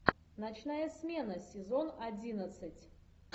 ночная смена сезон одиннадцать